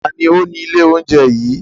Ta ni ó ni ilé oúnjẹ yìí?